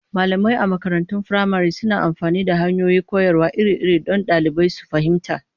Malamai a makarantun firamare suna amfani da hanyoyin koyarwa iri-iri don ɗalibai su fahimta.